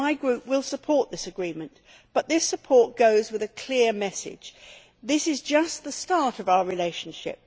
So my Group will support this agreement, but this support goes with a clear message this is just the start of our relationship.